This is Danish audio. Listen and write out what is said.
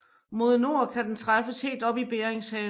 Mod nord kan den træffes helt op i Beringshavet